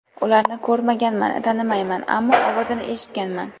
Ularni ko‘rmaganman, tanimayman, ammo ovozini eshitganman.